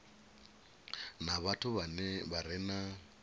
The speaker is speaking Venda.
na vhathu vha re na